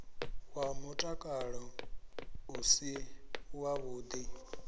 wa mutakalo u si wavhuḓi